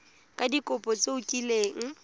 ka dikopo tse o kileng